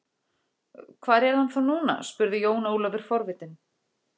Hvar er hann þá núna spurði Jón Ólafur forvitinn.